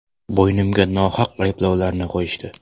Bo‘ynimga nohaq ayblovlarni qo‘yishdi.